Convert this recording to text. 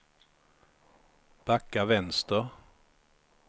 backa vänster